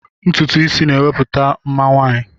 Ntutu isi na-ewepụta mma nwaanyị.